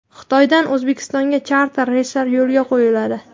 Xitoydan O‘zbekistonga charter reyslari yo‘lga qo‘yiladi.